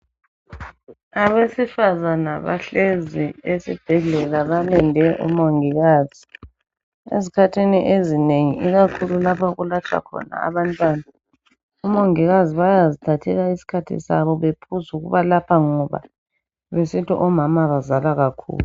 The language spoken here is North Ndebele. Abesifazana bahlezi esibhedlela balinde omongikazi. Ezikhathini ezinengi ikakhulu lapha okulatshwa khona abantwana omongikazi bayazithathela isikhathi sabo bephuz' ukubalapha ngoba besithi omama bazala kakhulu.